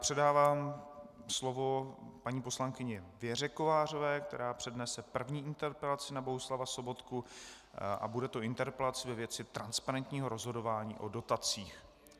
Předávám slovo paní poslankyni Věře Kovářové, která přednese první interpelaci na Bohuslava Sobotku, a bude to interpelace ve věci transparentního rozhodování o dotacích.